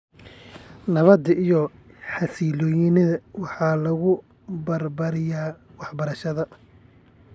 Nabadda iyo xasiloonida waxaa lagu barbaariyaa waxbarashada .